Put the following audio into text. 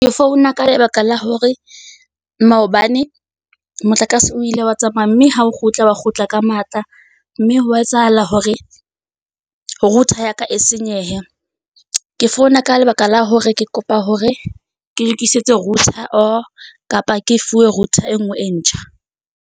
Ke founa ka lebaka la hore maobane motlakase o ile wa tsamaya, mme ha o kgutla, wa kgutla ka matla, mme hwa etsahala hore router ya ka e senyehe. Ke founa ka lebaka la hore ke kopa hore ke lokisetse router, or, kapa ke fuwe router e nngwe e ntjha.